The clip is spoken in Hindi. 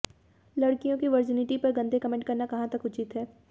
लड़कियों के वर्जिनिटी पर गंदे कमेंट करना कहां तक उचीत है